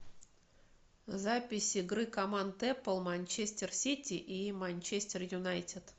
запись игры команд апл манчестер сити и манчестер юнайтед